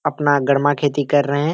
अपना गरमा खेती कर रे हैं।